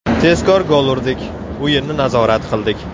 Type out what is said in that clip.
Tezkor gol urdik, o‘yinni nazorat qildik.